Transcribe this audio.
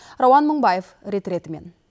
рауан мыңбаев рет ретімен